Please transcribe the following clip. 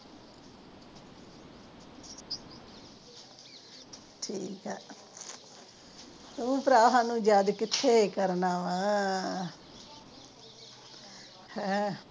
ਠੀਕ ਆ ਤੂੰ ਭਰਾ ਸਾਨੂੰ ਕਿੱਥੇ ਯਾਦ ਕਰਨਾ ਵਾ ਅਹ